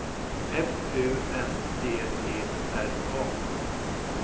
F U N D E R A